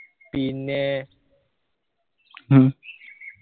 പിന്നെ